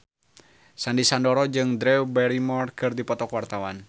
Sandy Sandoro jeung Drew Barrymore keur dipoto ku wartawan